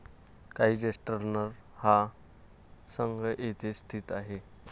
Kaiserslautern हा संघ येथेच स्थित आहे.